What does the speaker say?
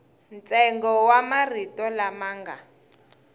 ntsengo wa marito lama nga